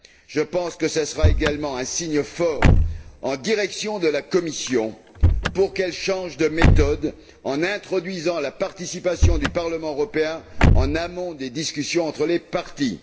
Je pense que cela sera également un signe fort en direction de la Commission pour qu'elle change de méthode en introduisant la participation du Parlement européen en amont des discussions entre les parties.